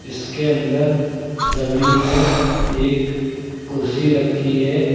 इसके अंदर जमीन में एक कुर्सी रखी है।